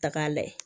Tak'a la